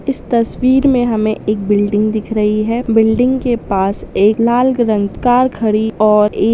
इस तसवीर में हमें एक बिल्डिंग दिखा रही है बिल्डिंग के पास एक लाल रंग का कार कड़ी है और एक